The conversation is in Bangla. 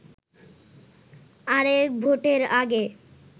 আরেক ভোটের আগে